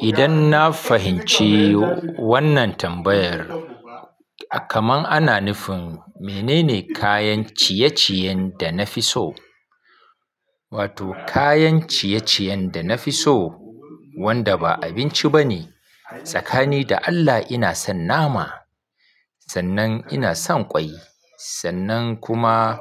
Idan na fahimci wannan tambayar, kamar ana nufin menene kayan ciye-ciyen da na fi so? Wato kayan ciye-ciyen da na fi so wanda ba abinci ba ne, tsakani da Allah ina son nama, sannan ina son ƙwai, sannan kuma